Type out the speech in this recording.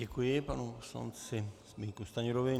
Děkuji panu poslanci Zbyňku Stanjurovi.